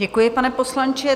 Děkuji, pane poslanče.